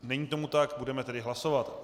Není tomu tak, budeme tedy hlasovat.